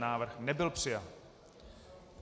Návrh nebyl přijat.